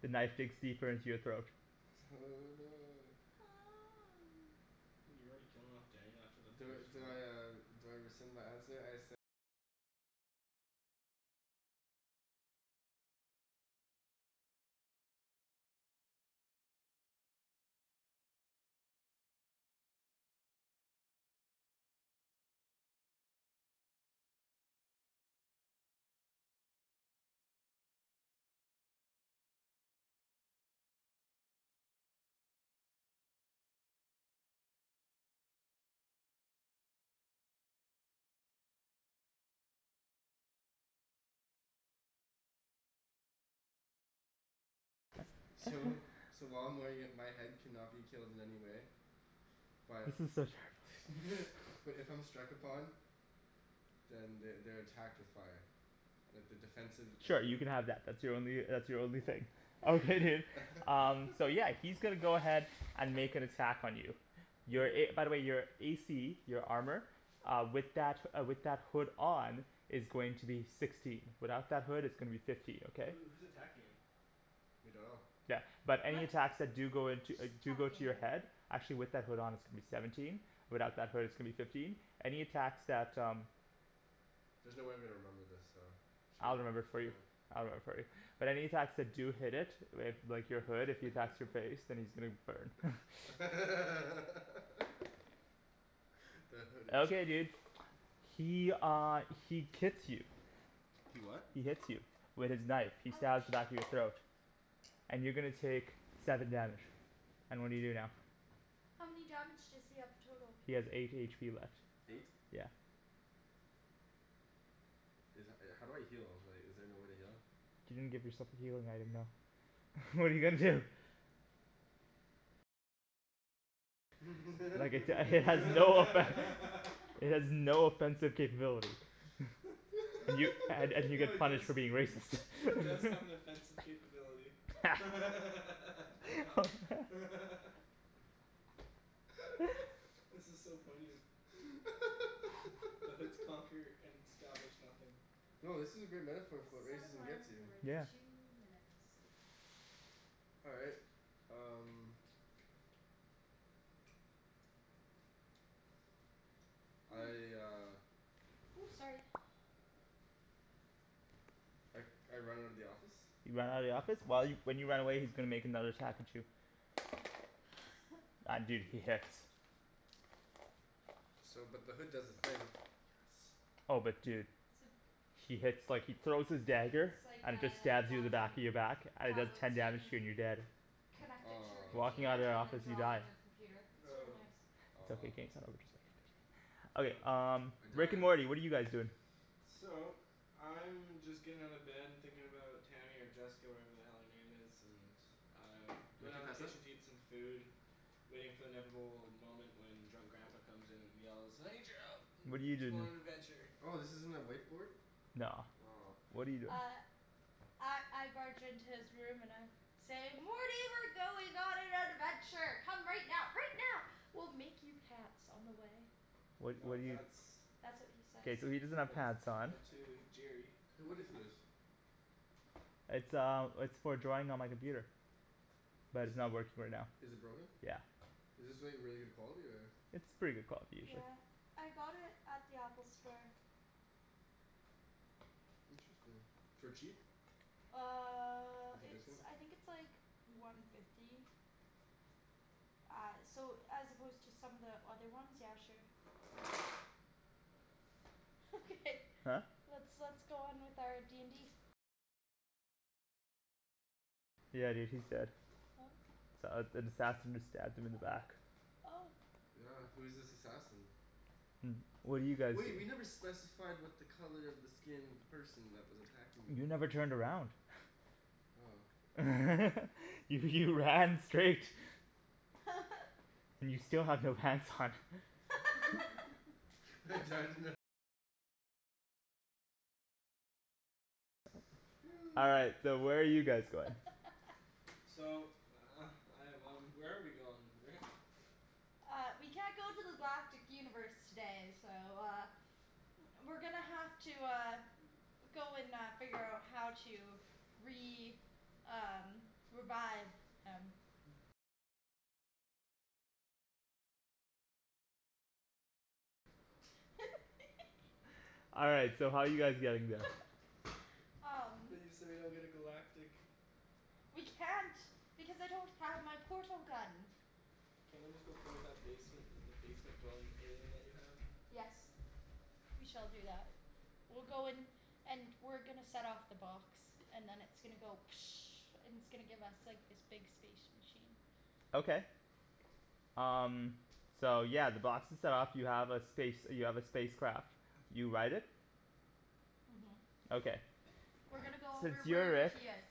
The knife digs deeper into your throat. Oh no. You're already killing off Daniel after the first roll? So so while I'm wearing it my head cannot be killed in any way. But This is so terrible but if I'm struck upon Then they they're attacked with fire. Like the defensive abil- Sure, you can have that. That's your only uh that's your only thing. Okay dude, um so yeah he's gonna go ahead and make an attack on you. Wait, Your who a, by wh- the way your a c, your armor Uh with that uh with that hood on is going to be sixteen. Without that hood it's going to be fifteen, okay? Who who's attacking him? We dunno. Yeah, but any attacks that do go into uh Just do go to attacking. your head actually with that hood on is going to be seventeen, without that hood it's gonna be fifteen. Any attacks that um There's no way I'm gonna remember this so should I'll remember it for we you, uh I'll remember it for you. But any attacks that do hit it with like your hood, if he attacks your face, then he's gonna burn the hooded Okay, dude. He uh he kits you. He what? He hits you. With his knife. He stabs the Ouch. back of your throat. And you're gonna take seven damage. And what do you do now? How many damage does he have total? He has eight h p left. Eight. Yeah. Is that, uh how do I heal? Like, is there no way to heal? You didn't give yourself a healing item though. What're you gonna do? Like it uh it has no effect It has no offensive capability. Y- and and you No get it does punished for being racist it does have an offensive capability This is so poignant. The hoods conquer and establish nothing. Yo, this is a great metaphor for what Set racism gets alarm you. for two minutes. All right, um I uh Ooh, sorry. I I run out of the office You run out of the office? While you, when you run away he's gonna make another attack at you. And dude, he hits. So but the hood does the thing. Yes. Oh but dude. So He hits like, he throws his dagger It's like and it just a stabs you in the back Wacom in your back and it does tablet ten so you damage to you can and you're dead. connect it to your Walking Aw computer out of that and then office you draw die. on your computer. It's really Oh. nice. It's okay, what you Aw said. Okay Okay. um I Rick and died. Morty, what are you guys doing? So, I'm just getting out of bed and thinking about Tammy or Jessica or whatever the hell her name is, and I'm Oh going can you down to the pass that? kitchen to eat some food. Waiting for the inevitable moment when drunk grandpa comes in and yells "I need your help What're you let's go doing? on an adventure!" Oh this isn't a whiteboard? No. Aw What're you doing? Uh I I barge into his room and I say "Morty we're going on an adventure. Come right now, right now. We'll make you pants on the way." What No what do you that's That's what he says. K, so he doesn't have But pants on. but to Jerry Hey what is this? It's um it's for drawing on my computer. But Is it's not working right now. is it broken? Yeah. Is this like really good quality or? It's pretty good quality usually. Yeah, I got it at the Apple store. Interesting. For cheap? Uh With your it's, discount? I think it's like one fifty. Uh so as opposed to some of the other ones, yeah sure. Okay, Huh? let's let's go on with our d n d Yeah dude, he's dead. Oh S- uh, an assassin just stabbed him in the back. Oh Yeah, who's this assassin? What do you guys Wait, we never specified what the color of the skin of the person that was attacking me You was. never turned around. Oh. You you ran straight. You still have no pants on. All right, so where are you guys going? So I have one, where are we going, Rick? Uh we can't go to the galactic universe today so uh We're gonna have to uh go and uh figure out how to re- um revive him. All right, so how are you guys getting there? um We so we don't get a galactic We can't because I don't have my portal gun. Can't we just go play with that basement the basement dwelling alien that you have? Yes. We shall do that. We'll go and and we're gonna set off the box. And then it's gonna go and it's gonna give us like this big space machine. Okay. Um so yeah, the box is set off. You have a space you have a space craft. You ride it. Mhm. Okay. We're gonna go Since over you're wherever Rick. he is.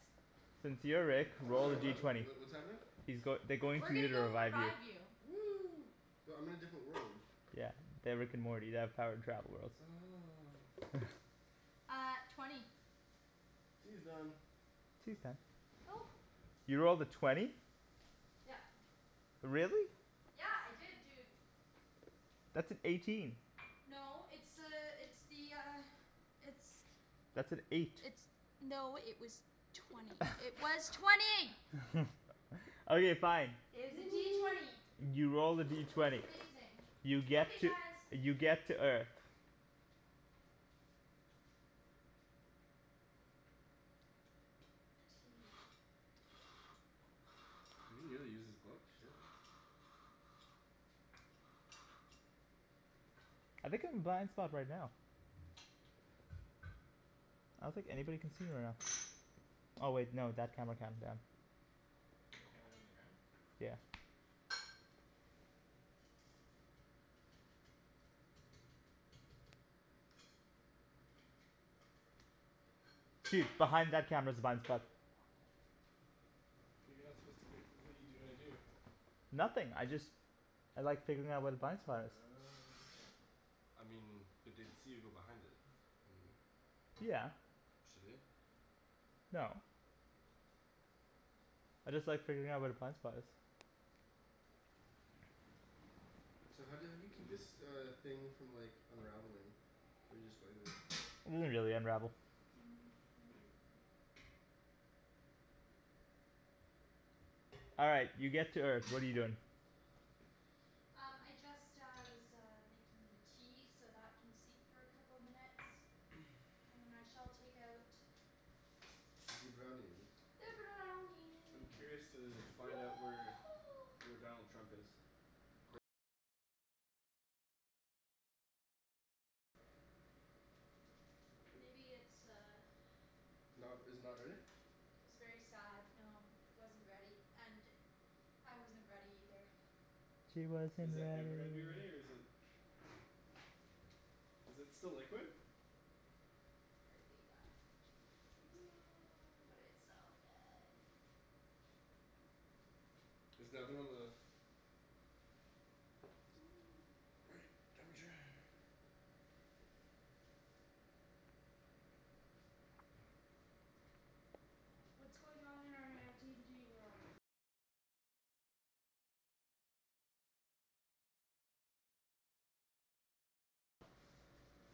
Since you're Rick, roll the Sorry D what? Wh- twenty. wh- what's happening? He's goi- they're going We're to you gonna to go revive you. revive you. Woo but I'm in a different world. Yeah. They're Rick and Morty. They have the power to travel worlds. Oh Uh twenty Tea is done. Tea's done. Oh. You rolled a twenty? Yep. Really? Yeah. I did dude. That's an eighteen. No it's uh it's the uh it's That's an eight. It's no it was twenty. It was twenty! Okay, fine. It was a D twenty. You rolled a D It was twenty. amazing. You get Okay to guys. you get to Earth. Tea. You really use this book? Shit. I think I'm a blind spot right now. I don't think anybody can see me right now. Oh wait, no that camera can, damn. There are cameras on the ground? Yeah. Dude, behind that camera's Tasty. a blind spot. But you're not supposed to b- what're you gonna do? Nothing, I just I like figuring out where the blind spot is. Oh okay. I mean, but they'd see you go behind it. Yeah. Should we? No. I just like figuring out where the blind spot is. So how do you how do you keep this uh thing from like unraveling? Or do you just go like this? It doesn't really unravel. Mm, maybe a bit more. All right, you get to Earth. What are you doing? Um I just uh was uh making the tea, so that can steep for a couple minutes. And then I shall take out Zee brownies. the I'm brownie curious to find out where where Donald Trump is. Maybe it's uh Not r- is it not ready? It was very sad, no. It wasn't ready, and I wasn't ready either. He wasn't Is that ready. ever gonna be ready or is it Is it still liquid? Apparently yeah, seems like it. But it's so good. Is the oven on the right temperature?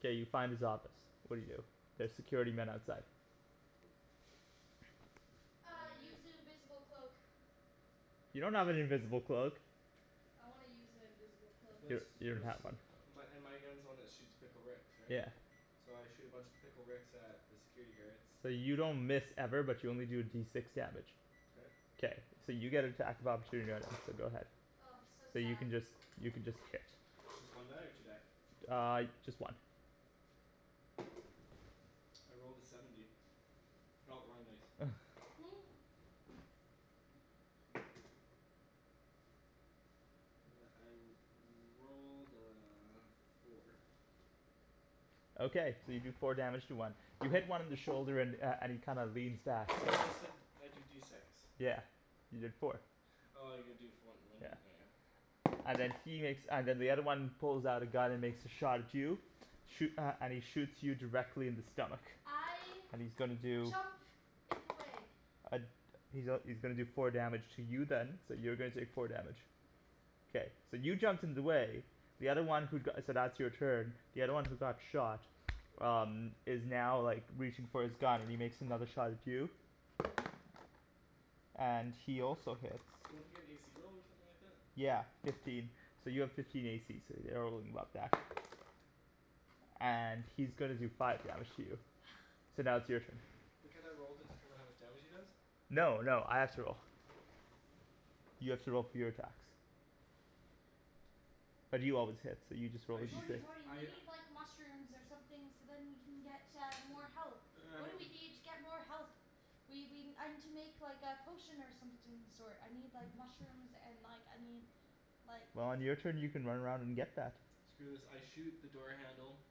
K, you find his office. What do you do? There's security men outside. Uh, I use the invisible cloak. You don't have an invisible cloak. I wanna use an invisible cloak. You Let's don- you don't let's, have one. my and my gun's the one that shoots Pickle Ricks, right? Yeah. So I shoot a bunch of Pickle Ricks at the security guards. So you don't miss ever, but you only do D six damage. K. K, so you get attack of opportunity right now, so go ahead. Oh so So you sad. can just you can just hit. It's just one die or two die? Uh, just one. I rolled a seventy. Oh wrong dice. I rolled a four. Okay, so you do four damage to one. You hit one in the shoulder and uh and he kind of leans back. I thought you said I do D six. Yeah, you did four. Oh you gotta do for when Yeah. when oh yeah. And then he makes, and then the other one pulls out a gun and makes a shot at you. Shoo- uh, and he shoots you directly in the stomach. I And he's gonna do jump in the way. Uh he's a- he's gonna do four damage to you then, so you're gonna take four damage. Okay. K, so you jumped in the way, the other one who go- so that's your turn. The other one who got shot um is now like reaching for his gun and he makes another shot at you and he also hits. Don't I get an a c roll or something like that? Yeah, fifteen. So you have fifteen a c so you're And he's gonna do five damage to you. So now it's your turn. But can't I roll to determine how much damage he does? No, no, I have to roll. You have to roll for your attacks. But you always hit, so you just roll a I D shoot Morty, six. Morty we I need like mushrooms or something so then we can get uh more health. What do we need to get more health? We we, I need to make like a potion or something of the sort. I need like mushrooms and like I need like Well on your turn you can run around and get that. Screw this, I shoot the door handle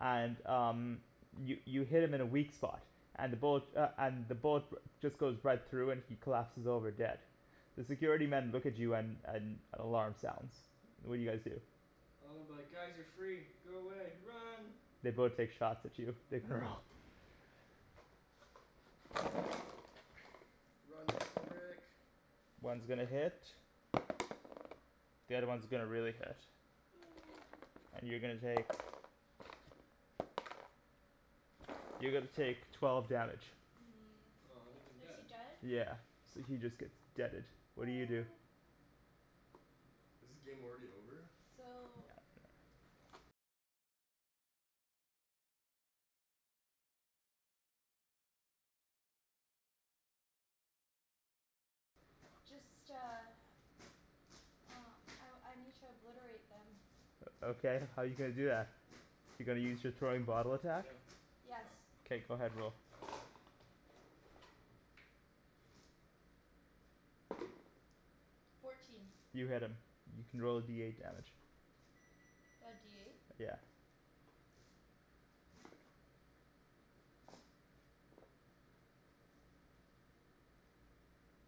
And um, you you hit him in a weak spot, and the bullet uh and the bullet just goes right through and he collapses over dead. The security men look at you and and an alarm sounds. What do you guys do? Well I'm like "Guys you're free. Go away. Run!" They both take shots at you. Make a roll. Run, Pickle Rick! One's gonna hit. The other one's gonna really hit. And you're gonna take you're gonna take twelve damage. Hmm, Oh that means I'm is he dead. dead? Yeah, so he just gets deaded. What do you do? Aw. Is the game already over? No, So no. Um I I need to obliterate them. O okay, how're you gonna do that? You're gonna use your throwing bottle attack? Yes. Somethin' K, go ahead, roll. Fourteen. You hit him. You can roll a D eight damage. The D eight? Yeah.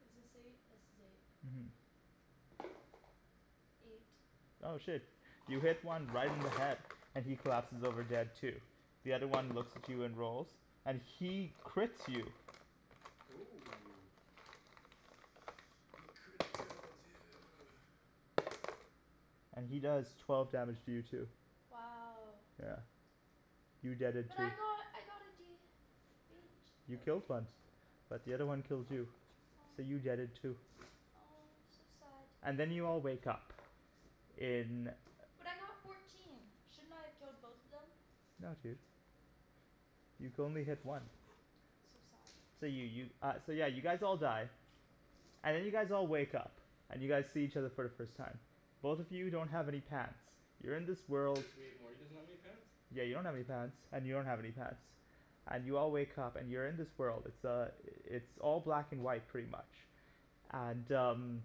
Is this eight? This is eight. Mhm. Eight. Oh shit. You hit one right in the head, and he collapses over dead too. The other one looks at you and rolls, and he crits you Oh. He criticaled you! and he does twelve damage to you too. Wow. Yeah. You deaded But too. I got I got a D H You out of killed one. eight. But the other one killed you. So Aw. you deaded too. Oh, so sad. And then you all wake up in But I got fourteen, shouldn't I have killed both of them? No dude. You could only hit one. So sad. So you you uh yeah so you guys all die. And then you guys all wake up, and you guys see each other for the first time. Both of you don't have any pants. You're in this world Wait, Morty doesn't have any pants? Yeah you don't have any pants and you don't have any pants. And you all wake up and you're in this world. It's uh it's all black and white pretty much. And um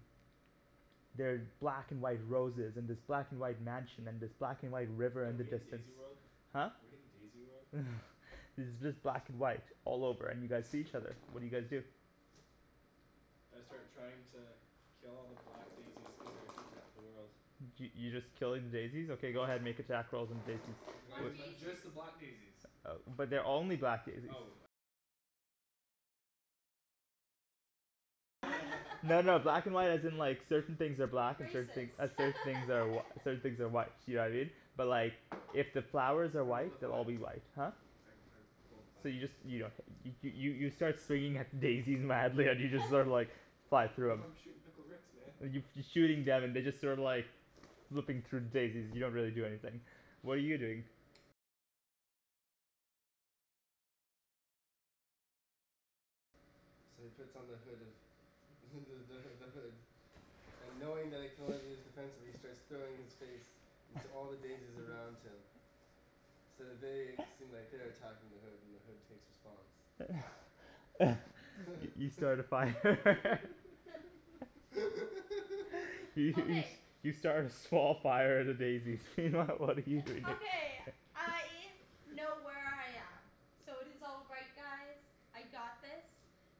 They're black and white roses and this black and white mansion and this black and white river Are in the we in distance. Daisy World? Huh? We in Daisy World? It's just black and white all over and you guys see each other. What do you guys do? I Um start trying to kill all the black daisies cuz they're heatin' up the world. Y- y- you just killing daisies? Okay go ahead, make attack rolls on the daisies. Why Why do you But just daisies? the black daisies. But they're only black daisies. No no black and white as in like certain things are black and certain Racist. thing uh certain things are certain things are white, you know what I mean? But like if the flowers are I rolled white, a they'll all five. be white. Huh? I I rolled a So five. you just you don't hit 'em. You you start swinging at the daisies madly and you just sorta like fly through Yo 'em. I'm shootin' Pickle Ricks man. And you f- you're shooting them and they're just sort of like flipping through daisies, they don't really do anything. What are you doing? So he puts on the hood of the the h- the hood. And knowing that it can only be used defensively he starts throwing his face into all the daisies around him. So they seem like they're attacking the hood and the hood takes response. You start a fire. Y- you s- Okay. you start a small fire at a daisy. What are you doing? Okay, I know where I am. So it is all right guys. I got this.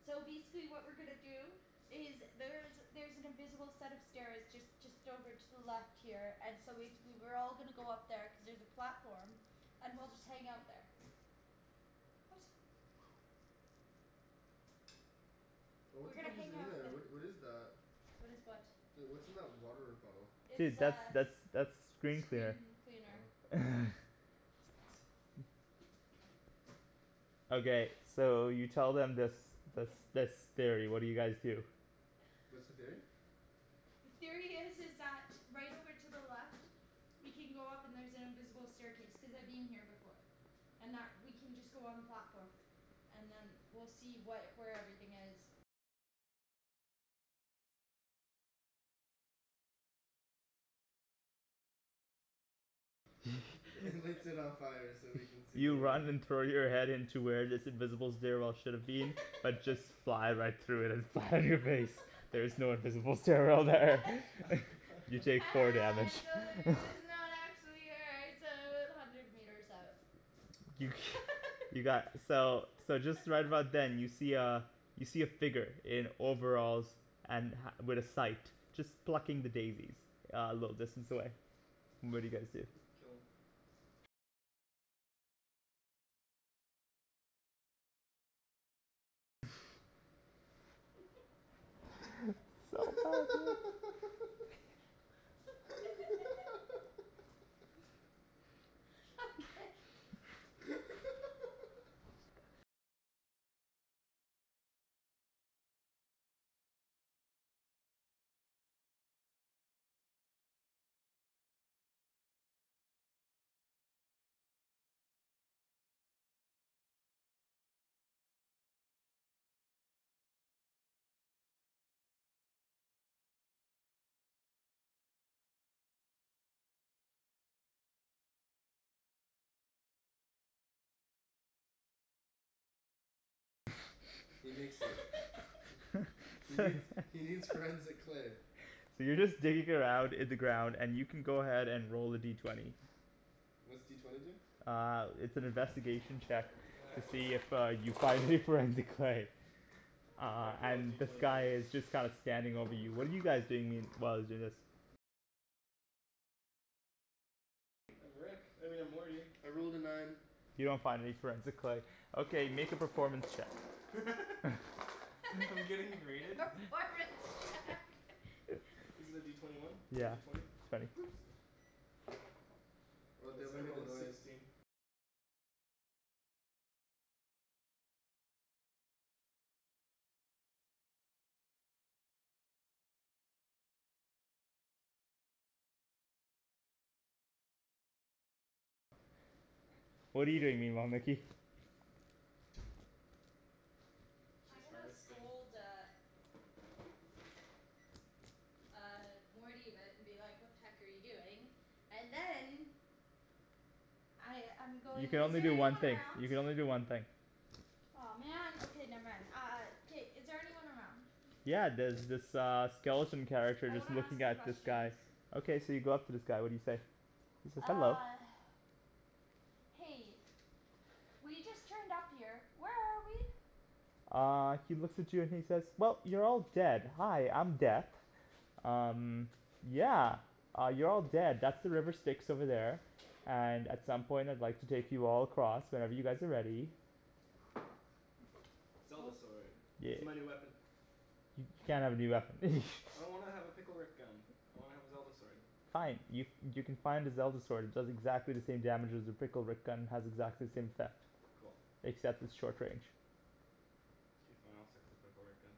So basically what we're gonna do is there's there's an invisible set of stairs just just over to the left here and so basically we're all gonna go up there cuz there's a platform. And we'll just hang out there. What? Oh what We're the gonna heck is hang in out there? the- What what is that? . What is what? The, what's in that water bottle? It's Dude, that's uh that's that's screen cleaner. screen cleaner. Oh. Okay, so you tell them this this this theory, what do you guys do? What's the theory? The theory is is that right over to the left we can go up and there's an invisible staircase, cuz I've been here before. And that we can just go on platform and then we'll see what, where everything is. And lights it on fire so we can see You the way. run and throw your head into where this invisible stairwell should've been, but just fly right through it and land on your face. There is no invisible stairwell there. You take Ha four ha damage I trolled you it's not actually here it's o- about hundred meters up. You got, so so just right about then you see uh you see a figure in overalls and ha- with a sight. Just plucking the daisies a little distance away. What do you guys do? Kill him. So bad dude. Okay He nicks it. He needs he needs forensic clay. So you're just digging around in the ground and you can go ahead and roll a D twenty. What's D twenty do? Uh it's an investigation check You're gonna to have to ro- see if uh you find your forensic clay. You Uh have to roll and D this twenty for guy this. is just kind of standing over you. What are you guys doing mean- while he's doing this? I'm Rick. I mean I'm Morty. I rolled a nine. You don't find any forensic clay. Okay, make a performance check. I'm getting rated? Performance check Is it a D twenty one? Or a Yeah. D twenty? Twenty. Or they It's, haven't I made a rolled a noise. sixteen. What're you doing meanwhile, Nikki? I'm She's gonna harvesting. scold uh Uh Morty but and be like "What the heck are you doing?" And then I I'm You going, can is only there do one anyone thing. around? You can only do one thing. Aw man. Okay, never mind. Uh K, is there anyone around? Yeah, there's this uh skeleton character I just wanna ask looking him at this guy. questions. Okay, so you go up to this guy. What do you say? He says "Hello." Uh Hey, we just turned up here. Where are we? Uh he looks at you and he says "Well, you're all dead. Hi, I'm Death." "Um, yeah, you're all dead. That's the river Styx over there." "And at some point I'd like to take you all across, whenever you guys are ready." Zelda sword. This Yeah. is my new weapon. You can't have a new weapon. I don't wanna have a Pickle Rick gun. I wanna have a Zelda sword. Fine. Y- you can find a Zelda sword. It does exactly the same damage as your Pickle Rick gun, has exactly the same effect. Cool. Except it's short range. K, fine, I'll stick with the Pickle Rick gun.